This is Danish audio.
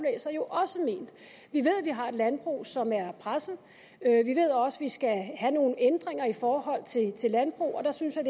jo at vi har et landbrug som er presset vi ved også at vi skal have nogle ændringer i forhold til til landbruget og der synes jeg